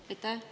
Aitäh!